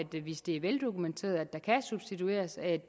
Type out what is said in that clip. hvis det er veldokumenteret at der kan substitueres at